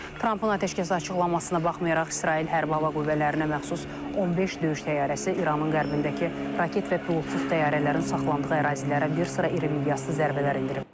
Trampın atəşkəs açıqlamasına baxmayaraq, İsrail hərbi hava qüvvələrinə məxsus 15 döyüş təyyarəsi İranın qərbindəki raket və pilotsuz təyyarələrin saxlandığı ərazilərə bir sıra iri miqyaslı zərbələr endirib.